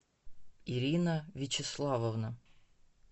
ирина вячеславовна